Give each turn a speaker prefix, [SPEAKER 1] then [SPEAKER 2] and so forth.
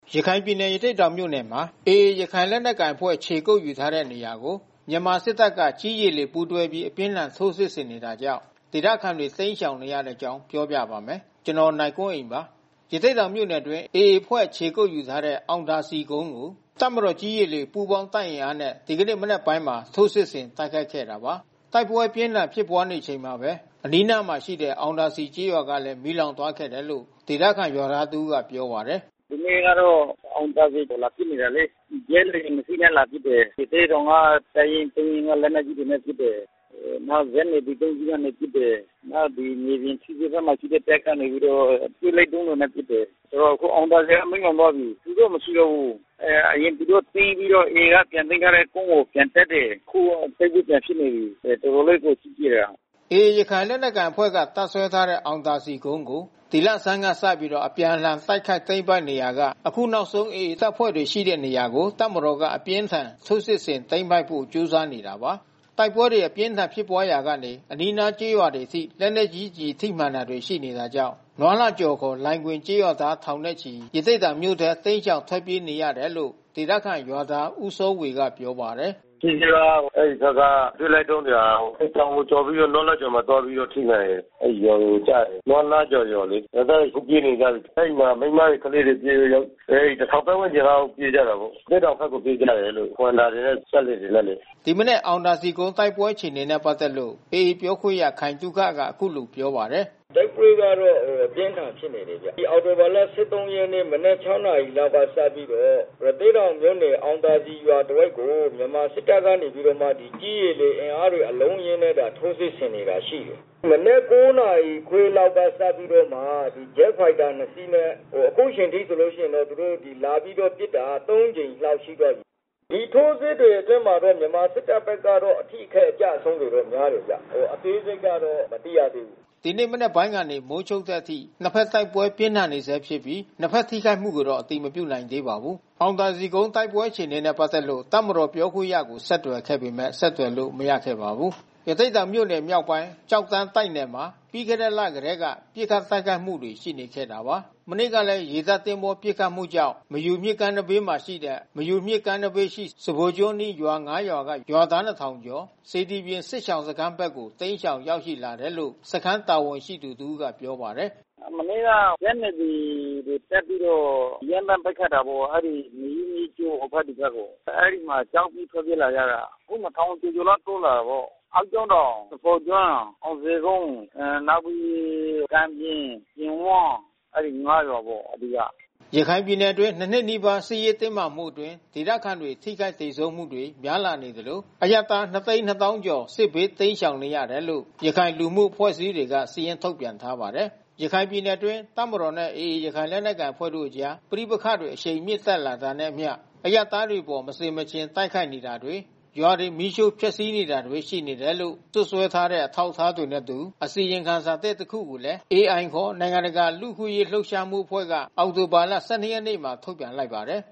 [SPEAKER 1] ရခိုင်ပြည်နယ်၊ ရသေ့တောင်မြို့နယ်မှာ AA ရခိုင်လက်နက်ကိုင်အဖွဲ့ ခြေကုတ်ယူထားတဲ့ နေရာကို မြန်မာစစ်တပ်က ကြည်း၊ ရေ၊ လေ ပူးတွဲပြီး အပြင်းအထန် ထိုးစစ်ဆင်နေတာကြောင့် ဒေသခံတွေ တိမ်းရှောင်နေရတဲ့ အကြောင်းပြောပြပါမယ်။ ဗွီအိုအေမြန်မာပိုင်း သတင်းထောက် ကိုနိုင်ကွန်းအိန်က သတင်းပေးပို့ထားပါတယ်။ ရသေ့တောင်မြို့နယ်အတွင်း AA အဖွဲ့ခြေကုတ်ယူထားတဲ့ အောင်သာစည်ကုန်းကို တပ်မတော်ကြည်း ရေ လေ ပူပေါင်းတပ်အင်အားနဲ့ ဒီကနေ့ မနက်ပိုင်းမှာ ထိုးစစ်ဆင်တိုက်ခိုက်ခဲ့တာပါ။ တိုက်ပွဲအပြင်းအထန် ဖြစ်ပွားနေချိန်မှာပဲ အနီးအနားမှာရှိတဲ့ အောင်သာစည် ကျေးရွာလဲ မီးလောင်သွားခဲ့တယ်လို့ ဒေသခံရွာသား တဦးကပြောပါတယ်။
[SPEAKER 2] “ဒီနေ့ကတော့ အောင်သာစည်ကို လာပစ်နေတာလေ။ ဂျက်လေယာဉ်နှစ်စီးနဲ့ လာပစ်နေတယ်။ ရသေ့တောင်တပ်ရင်း ၃ ရင်းက လက်နက်ကြီးတွေနဲ့ပစ်တယ်။ နောက်ဇက် NAVY ၃ စီးကနေပစ်တယ်။ နောက်မြေပြင်ထီးစွဲနားမှာ ရှိတဲ့ တပ်ကနေပြီးတော့အတွဲလိုက်ဒုံးတွေနဲ့ ပစ်တယ်။ ဆိုတော့ အခုအောင်သာစည်က မီးလောင်သွားပြီ။ လူက မရှိတော့ဘူး။ အရင်သူတို့ သိမ်းပြီးတော့ AA က ပြန်သိမ်းထားတဲ့ကုန်းကို ပြန်တက်တယ်။ ခုကတိုက်ပွဲပြန်ဖြစ်နေပြီ။ တော်တော်လေးကိုကြီးတာ။
[SPEAKER 1] ” AA ရခိုင်လက်နက်ကိုင်အဖွဲ့က တပ်စွဲထားတဲ့အောင်သာစည်ကုန်းကို ဒီလဆန်းကစပြီး အပြန်အလှန် တိုက်ခိုက်သိမ်းပိုက်နေရာက အခုနောက်ဆုံး AA တပ်ဖွဲ့တွေ ရှိနေတဲ့ နေရာကို တပ်မတော်က အပြင်းအထန် ထိုးစစ်ဆင်သိမ်းပိုက်ဖို့ ကြိုးစားနေတာပါ။ တိုက်ပွဲတွေ အပြင်းအထန် ဖြစ်ပွားရာက အနီးနားရွာတွေအထိ သေနတ်ကျည်ထိမှန်တာတွေ ရှိနေတာကြောင့် နွားလှကျော် (ခေါ်) လိုင်ဂွင်ကျေး ရွာသားထောင်ချီပြီး ရသေ့တောင်မြို့ထဲ တိမ်းရှောင်ထွက်ပြေးနေရတယ်လို့ ဒေသခံရွာသား ဦးစောဝေကပြောပါတယ်။
[SPEAKER 2] “ထီးစွဲက အဲဒီဘက်က ပစ်လိုက်တဲ့ဒုံးတွေဟာ တောင်ကိုကျော်ပြီးတော့ နွားလှကျော်ကိုလာပြီးတော့ ထိလာတယ်။ အဲဒီရွာတွေ ကျတယ်။ နွားလှကျော်လေ။ ရွာသားတွေအခုပြေးနေကြပြီး။ အဲဒီမှာမိန်းမတွေ၊ ကလေးတွေပြေးပြီ။ ၁,၀၀၀ ပတ်ဝန်းကျင်လောက်ပြေးကြတာပေါ့။ ရသေ့တောင်ဘက်ကိုပြေးကြတယ်လို့။ Honda တွေနဲ့၊ စက်လှေတွေနဲ့လေ။
[SPEAKER 1] ” ဒီမနက်အောင်သာစည်ကုန်း တိုက်ပွဲအခြေအနေနဲ့ ပက်သက်လို့ AA ပြောခွင့်ရခိုင်သုခကအခုလိုပြောပါတယ်။
[SPEAKER 3] “တိုက်ပွဲကတော့ အပြင်းအထန်ဖြစ်နေတယ်။ တိုက်ပွဲကတော့ အပြင်းထန်ဖြစ်နေတယ်။ ဒီအောက်တိုဘာလ ၁၃ ရက် မနက် ၆ နာရီက စပြီးတော့ ရသေ့တောင်မြို့နယ် အောင်သာစည်ရွာတဝိုက်ကို မြန်မာစစ်တပ်ကနေပြီးတော့မှ ကြည်း၊ ရေ၊ လေ အင်အားအလုံးအရင်းနဲ့ ထိုးစစ်ဆင်နေတာရှိတယ်။ မနက် ၉ နာရီခွဲလောက်စပြီးတော့မှ ဂျက်ဖိုက်တာ ၂ စီးနဲ့ အခုချိန်ထိဆိုလို့ ရှိရင်တော့ သူတို့ လာပစ်တာ ၃ ကြိမ်မြောက်ရှိသွားပြီ။ ဒီထိုးစစ်တွေအတွင်းမှာတော့ မြန်မာစစ်တပ်ဘက်က အထိခိုက်အကျဆုံးတွေ များတယ်ခင်ဗျ။ အသေးစိတ်ကတော့ မသိရသေးဘူး
[SPEAKER 1] ။” ဒီနေ့ မနက်ပိုင်းကနေ မိုးချုပ်တဲ့အထိ နှစ်ဘက်တိုက်ပွဲပြင်းထန်နေဆဲဖြစ်ပြီး နှစ်ဘက်ထိခိုက်မှုကိုတော့ အတည်မပြုနိုင်သေးပါဘူး။ အောင်သာစည်ကုန်းတိုက်ပွဲ အခြေအနေနဲ့ ပတ်သက်လို့ တပ်မတော်ပြောခွင့်ရကို ဆက်သွယ်ခဲ့ပေမဲ့ ဆက်သွယ်လို့ မရခဲ့ပါဘူး။ ရသေ့တောင်မြို့နယ်မြောက်ပိုင်း၊ ကျောက်တန်းတိုက်နယ်မှာ ပြီးခဲ့တဲ့ လကတည်းက ပစ်ခတ်တိုက်ခိုက်မှုတွေ ရှိနေခဲ့ပါတယ်။ မနေ့ကလည်း ရေတပ်သင်္ဘောပစ်ခတ်မှုကြောင့် မယူမြစ်ကမ်းနားဘေး စဖိုကျွန်းအနီးရွာ ၅ ရွာက ရွာသား ၂,၀၀၀ ကျော် စေတီပြင်စစ်ရှောင်စခန်းဘက်ကို တိမ်းရှောင်ရောက်ရှိလာတယ်လို့ စခန်းတာဝန်ရှိသူ တဦးကပြောပါတယ်
[SPEAKER 2] ။ “မနေ့က ဇက် NAVY တွေ တက်ပြီးတော့ ရမ်းသန်းပစ်ခတ်တာပေါ့။ အဲဒီမေယုမြစ်ကြောဟိုဘက်ဒီဘက်ပေါ့။ အဲဒီမှာ ကြောက်ပြီး ထွက်ပြေးလာကြတာာ။ အခု ၂,၀၀၀ ကျော်ကျော်လောက်တိုးလာတာပေါ့။ အောက်ကျောင်းတောင်၊ စဖိုကျွန်း၊ အောင်ဇေကုန်း၊ နောက်ပြီး ကံပြင်၊ ပြင်ဝန်း အဲဒီ ၅ ရွာပ
[SPEAKER 1] ေါ့အဓိက။ ရခိုင်ပြည်နယ်အတွင်း ၂ နှစ်နီးပါး စစ်ရေးတင်းမာမှုအတွင်း ဒေသခံတွေထိခိုက်သေဆုံးမှုတွေ များလာနေသလို အရပ်သား ၂၂၀,၀၀၀ ကျော် စစ်ဘေးတိမ်းရှောင်နေရတယ်လို့ ရခိုင်လူမှုအဖွဲ့အစည်းတွေက စာရင်းထုတ်ပြန်ထားပါတယ်။ ရခိုင်ပြည်နယ်အတွင်း တပ်မတော်နဲ့ AA ရခိုင်လက်နက်ကိုင်အဖွဲ့ကြား ပဋိပက္ခတွေ အရှိန်မြင့်တက်လာတာနဲ့အမျှ အရပ်သားတွေအပေါ် မဆင်မခြင်တိုက်ခိုက်နေတာတွေ၊ ရွာတွေ မီးရှို့ဖျက်စီးနေတာတွေ ရှိနေတယ်လို့ စွပ်စွဲထားတဲ့ အထောက်အထားတွေနဲ့အတူ အစီရင်ခံစာသစ် တခုကိုလည်း AI ခေါ် နိုင်ငံတကာ လူ့အခွင့်ရေးလှုပ်ရှားမှု အဖွဲ့က အောက်တိုဘာလ ၁၂ ရက်နေ့မှာ ထုတ်ပြန်
[SPEAKER 3] လိုက်ပါတယ်